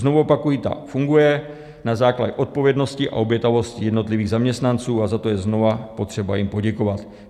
Znovu opakuji, ta funguje na základě odpovědnosti a obětavosti jednotlivých zaměstnanců, a za to je znovu potřeba jim poděkovat.